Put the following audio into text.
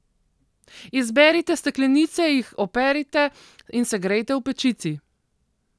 Izberite steklenice, jih operite in segrejete v pečici.